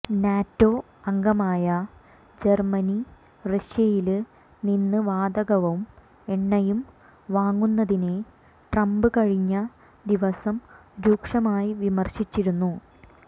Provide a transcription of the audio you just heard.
NATO അംഗമായ Germany റഷ്യയില് നിന്ന് വാതകവും എണ്ണയും വാങ്ങുന്നതിനെ ട്രംപ് കഴിഞ്ഞ ദിവസം രൂക്ഷമായി വിമര്ശിച്ചിരുന്നു